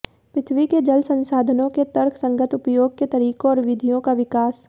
पृथ्वी के जल संसाधनों के तर्कसंगत उपयोग के तरीकों और विधियों का विकास